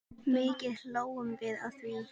Mikið hlógum við að því.